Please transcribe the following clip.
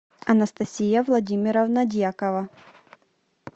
анастасия владимировна дьякова